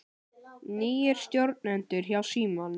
Nýir stjórnendur hjá Símanum